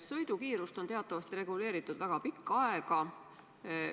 Sõidukiirust on teatavasti reguleeritud väga pikka aega.